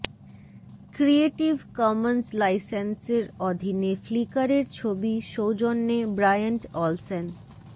creative Commons লাইসেন্সের অধীনে ফ্লিকারের ছবি সৌজন্যে ব্রায়ান্ট অলসেন